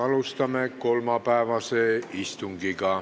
Alustame kolmapäevast istungit.